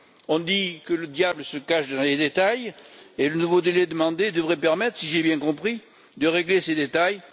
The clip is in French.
On dit que le diable se cache dans les détails, et le nouveau délai demandé devrait permettre, si j'ai bien compris, de régler ces détails.